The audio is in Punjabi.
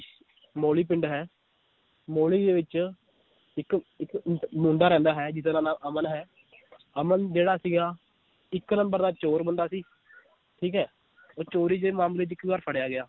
ਮੋਲੀ ਪਿੰਡ ਹੈ ਮੋਲੀ ਦੇ ਵਿਚ ਇਕ ਇਕ ਮੁੰਡਾ ਰਹਿੰਦਾ ਹੈ ਜਿਹਦਾ ਨਾਂ ਅਮਨ ਹੈ ਅਮਨ ਜਿਹੜਾ ਸੀਗਾ ਇੱਕ number ਦਾ ਚੋਰ ਬੰਦਾ ਸੀ ਠੀਕ ਏ ਉਹ ਚੋਰੀ ਦੇ ਮਾਮਲੇ 'ਚ ਇੱਕ ਵਾਰ ਫੜਿਆ ਗਿਆ